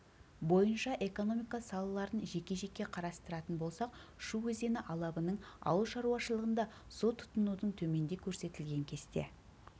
бойынша экономика салаларын жеке-жеке қарастыратын болсақ шу өзені алабының ауылшаруашылығында су тұтынудың төменде көрсетілген кесте